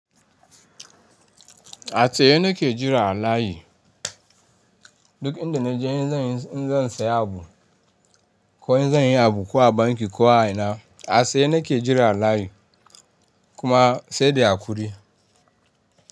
A tsaye na ke jira a layi. Duk inda na je in zan, in zan saya abu ko in zan yi abu ko a banki ko a ina, a tsaye na ke jira a layi kuma sai da hakuri.